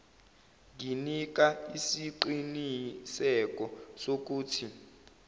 nginika isiqiniseko sokuthi